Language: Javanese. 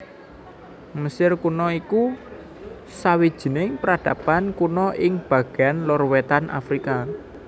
Mesir Kuna iku sawijining peradaban kuna ing bagéan lor wétan Afrika